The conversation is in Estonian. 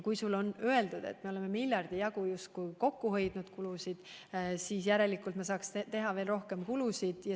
Kui on öeldud, et oleme miljardi jagu kulusid justkui kokku hoidnud, siis järelikult peaksime saama teha veel rohkem kulusid.